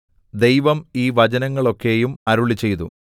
ദൈവം ഈ വചനങ്ങളൊക്കെയും അരുളിച്ചെയ്തു